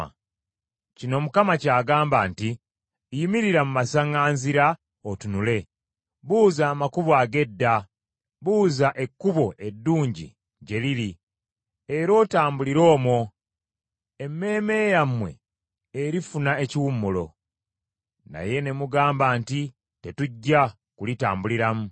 Kino Mukama ky’agamba nti, “Yimirira mu masaŋŋanzira otunule. Buuza amakubo ag’edda, buuza ekkubo eddungi gye liri, era otambulire omwo, emmeeme yammwe erifuna ekiwummulo. Naye ne mugamba nti, ‘Tetujja kulitambuliramu.’